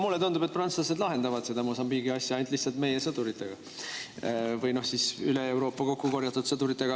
Mulle tundub, et prantslased küll lahendavad seda Mosambiigi asja, aga lihtsalt meie sõduritega või siis üle Euroopa kokkukorjatud sõduritega.